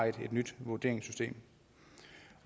et nyt vurderingssystem